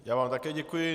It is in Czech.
Já vám také děkuji.